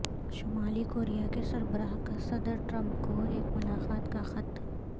شمالی کوریا کے سربراہ کا صدر ٹرمپ کو ایک اور ملاقات کا خط